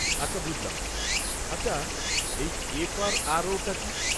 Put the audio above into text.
আচ্ছা বুঝলাম। আচ্ছা এই এফ.আর.আর.ও টা কী?